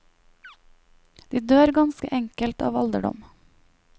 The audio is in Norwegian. De dør ganske enkelt av alderdom.